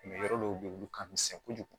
yɔrɔ dɔw bɛ yen olu ka misɛn kojugu